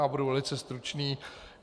Já budu velice stručný.